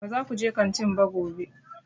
Ba za ku je kantin ba gobe!